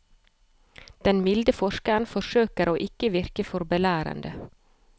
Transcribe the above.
Den milde forskeren forsøker å ikke virke for belærende.